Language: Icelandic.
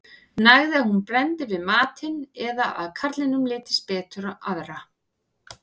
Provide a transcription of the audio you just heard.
nægði að hún brenndi við matinn eða að karlinum litist betur á aðra